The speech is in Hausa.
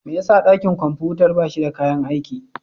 Me yasa dakin kwamfutar ba shi da kayan aiki?